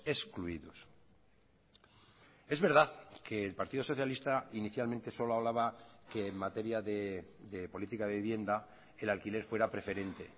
excluidos es verdad que el partido socialista inicialmente solo hablaba que en materia de política de vivienda el alquiler fuera preferente